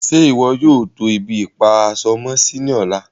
Ṣẹ́ iwọ yóò tó ibi-ipa-aṣọ-mọ-sí ní ọ̀lá?